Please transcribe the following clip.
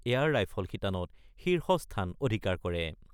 Air rifle শিতানত শীৰ্ষ স্থান অধিকাৰ কৰে।